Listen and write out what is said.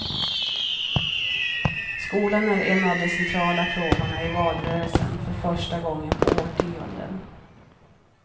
Skolan är en av de centrala frågorna i valrörelsen för första gången på årtionden.